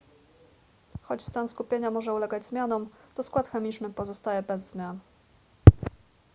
choć stan skupienia może ulegać zmianom to skład chemiczny pozostaje bez zmian